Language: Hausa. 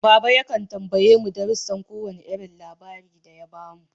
Baba yakan tambaye mu darusan ko wane irin labari da ya bamu.